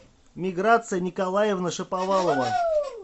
миграция николаевна шаповалова